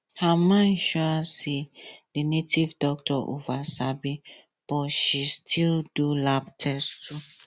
her mind sure her say the native doctor over sabi but she still do lab test too